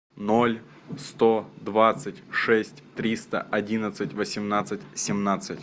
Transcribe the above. ноль сто двадцать шесть триста одиннадцать восемнадцать семнадцать